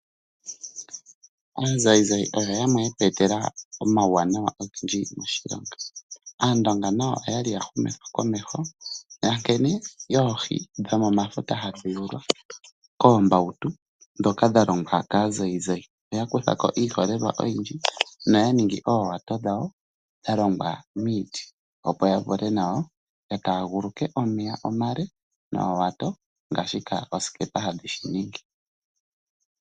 Aazayizayi oyo yamwe yetweetela omauwanawa ogendji moshilongo Aandonga nayo okwali ya humithwa komeho yankene oohi hadhi